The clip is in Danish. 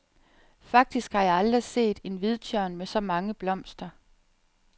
Faktisk har jeg aldrig set en hvidtjørn med så mange blomster.